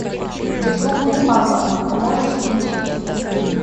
дежурный папа можешь включить